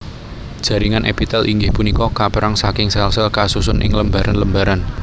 Jaringan èpitèl inggih punika kapèrang saking sèl sèl kasusun ing lembaran lembaran